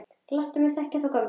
Láttu mig þekkja þá gömlu!